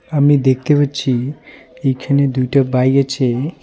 আমি দেখতে পাচ্ছি এইখানে দুইটা বাই আছে .